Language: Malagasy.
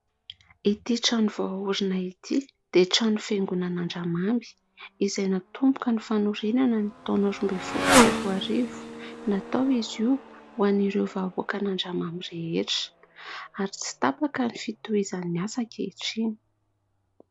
Ity trano vao ahorina ity dia trano fiangonana Andramamy izay natomboka ny fanorenana ny taona roa ambin'ny folo sy roa arivo, natao izy io ho an'ireo vahoakan'Andramamy rehetra ary tsy tapaka ny fitohizan'ny asa ankehitriny.